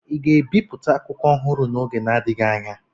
Ị ga-ebipụta akwụkwọ ọhụrụ n'oge na-adịghị anya?